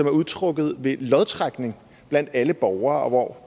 er udtrukket ved lodtrækning blandt alle borgere og hvor